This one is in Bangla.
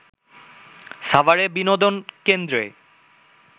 সাভারে বিনোদন কেন্দ্রে